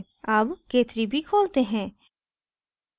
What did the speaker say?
अब k3b खोलते हैं